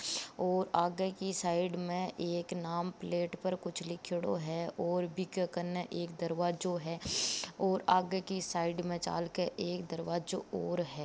और आगे की साइड में एक नाम प्लेट पर कुछ लिख्योड़ो है और बीके कने एक दरवाजो है और आगे की साइड में चालके एक दरवाजो और है।